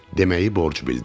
Deməyi borc bildim.